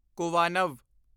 ਕੁਵਾਨਵ